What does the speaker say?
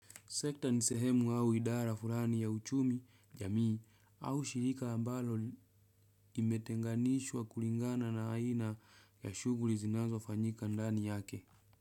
Sekta ni sehemu au idara furani ya uchumi, jamii au shirika ambalo imetenganishwa kulingana na aina ya shughuri zinazofanyika ndani yake.